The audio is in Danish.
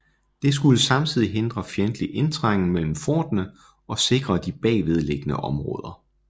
Det skulle samtidig hindre fjendtlig indtrængen mellem forterne og sikre de bagved liggende områder